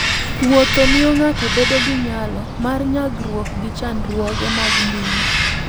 Wuotho miyo ng'ato bedo gi nyalo mar nyagruok gi chandruoge mag ngima.